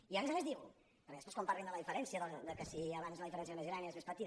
i a més a més diu perquè després quan parlin de la diferència que si abans la diferència era més gran i ara és més petita